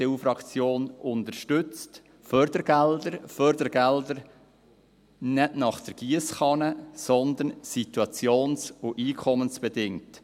Die EDU-Fraktion unterstützt Fördergelder – Fördergelder nicht nach der Giesskanne, sondern situations- und einkommensbedingt.